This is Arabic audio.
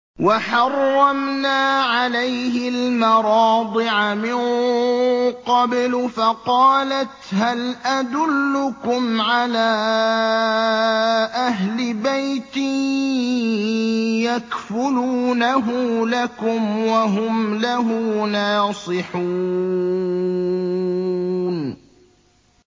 ۞ وَحَرَّمْنَا عَلَيْهِ الْمَرَاضِعَ مِن قَبْلُ فَقَالَتْ هَلْ أَدُلُّكُمْ عَلَىٰ أَهْلِ بَيْتٍ يَكْفُلُونَهُ لَكُمْ وَهُمْ لَهُ نَاصِحُونَ